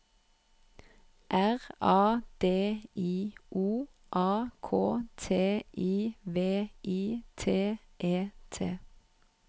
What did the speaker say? R A D I O A K T I V I T E T